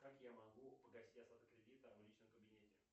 как я могу погасить остаток кредита в личном кабинете